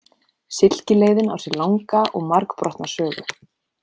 Silkileiðin á sér langa og margbrotna sögu.